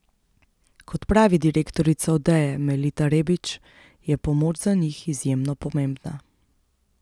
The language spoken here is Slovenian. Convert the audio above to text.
Kot pravi direktorica Odeje Melita Rebič, je pomoč za njih izjemno pomembna.